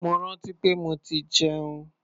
Mo rántí pé mo ti jẹun.